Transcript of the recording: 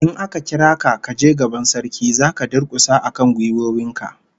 In aka kira ka kaje gaban Sarki, zaka durkusa akan gwiwoyin ka